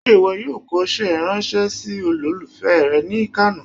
se iwọ yoo kòse ranse sí olòlufé re ni kano?